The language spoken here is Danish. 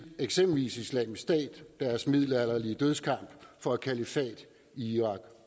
eksempelvis islamisk stat og deres middelalderlige dødskamp for et kalifat i irak